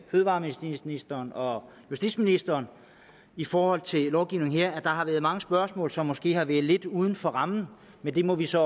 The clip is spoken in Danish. fødevareministeren og justitsministeren i forhold til lovgivningen her at der har været mange spørgsmål som måske har været lidt uden for rammen men det må vi så